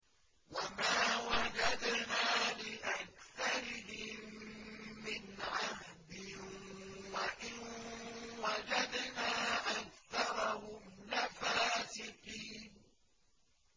وَمَا وَجَدْنَا لِأَكْثَرِهِم مِّنْ عَهْدٍ ۖ وَإِن وَجَدْنَا أَكْثَرَهُمْ لَفَاسِقِينَ